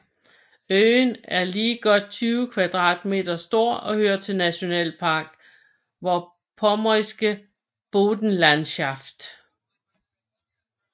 Øen er lige godt 20 kvadratkilometer stor og hører til Nationalpark Vorpommersche Boddenlandschaft